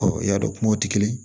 i y'a dɔn kumaw tɛ kelen ye